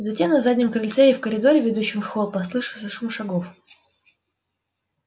затем на заднем крыльце и в коридоре ведущем в холл послышался шум шагов